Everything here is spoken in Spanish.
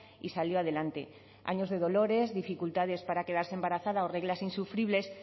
y salió adelante años de dolores dificultades para quedarse embarazada o reglas insufribles